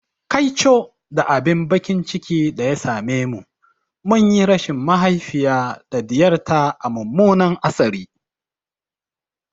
Kaico da abin baƙin ciki da ya same mu, mun yi rashin mahaifiya da ɗiyar ta a mummunan hatsari.